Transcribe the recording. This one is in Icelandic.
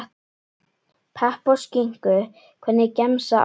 Pepp og skinku Hvernig gemsa áttu?